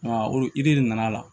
olu yiri de nana